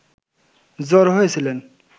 জড়ো হয়েছিলেন